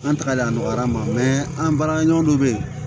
An tagalen a nɔgɔyara an ma an baarakɛɲɔgɔn dɔ bɛ yen